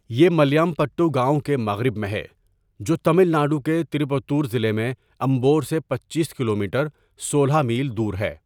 یہ ملیامپٹو گاؤں کے مغرب میں ہے جو تمل ناڈو کے تروپتر ضلع میں امبور سے پچیس کلومیٹر سولہ میل دور ہے.